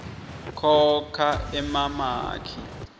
khokha emamaki